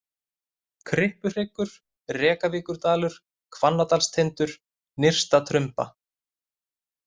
Kryppuhryggur, Rekavíkurdalur, Hvannadalstindur, Nyrsta-Trumba